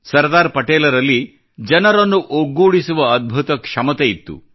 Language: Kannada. ಸರ್ದಾರ್ ಪಟೇಲ್ ರಲ್ಲಿ ಜನರನ್ನು ಒಗ್ಗೂಡಿಸುವ ಅದ್ಭುತ ಕ್ಷಮತೆ ಇತ್ತು